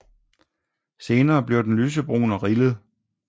Senere bliver den lysebrun og rillet